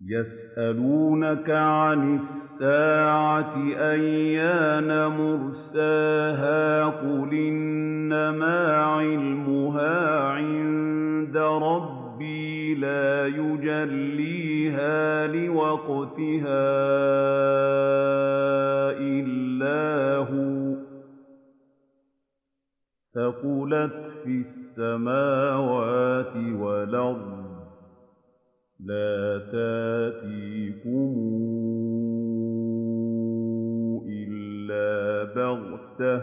يَسْأَلُونَكَ عَنِ السَّاعَةِ أَيَّانَ مُرْسَاهَا ۖ قُلْ إِنَّمَا عِلْمُهَا عِندَ رَبِّي ۖ لَا يُجَلِّيهَا لِوَقْتِهَا إِلَّا هُوَ ۚ ثَقُلَتْ فِي السَّمَاوَاتِ وَالْأَرْضِ ۚ لَا تَأْتِيكُمْ إِلَّا بَغْتَةً ۗ